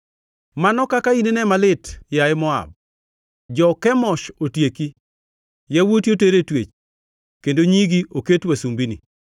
Mano kaka inine malit, yaye Moab! Jo-Kemosh otieki; yawuoti oter e twech, kendo nyigi oket wasumbini.